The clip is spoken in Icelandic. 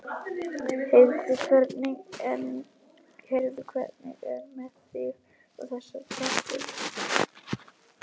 Heyrðu, hvernig er með þig og þessa stelpu?